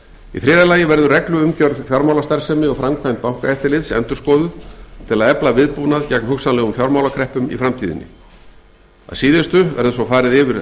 í þriðja lagi verður regluumgjörð fjármálastarfsemi og framkvæmd bankaeftirlits endurskoðuð til að efla viðbúnað gegn hugsanlegum fjármálakreppum í framtíðinni að síðustu verður svo farið yfir